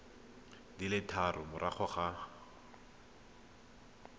di le tharo morago ga